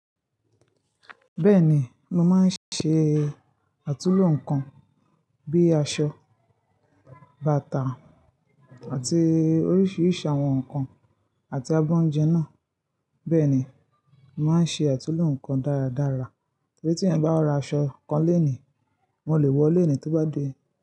Bẹ́ẹ̀ni, mo máa ń ṣe àtulò nǹkan bí i aṣọ, bàtà àti oríṣiríṣi àwọn nǹkan àti abọ́ oúnjẹ náà. Bẹ́ẹ̀ ni, n màá n ṣe àtulò nǹkan dáradára. Torí tíeeyan báa ra aṣọ kan lónìí, wọn le wọọ lónìí tí ó bá dé.